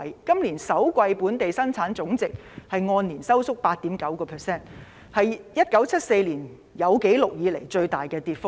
今年首季本地生產總值按年收縮 8.9%， 是1974年有紀錄以來的最大跌幅。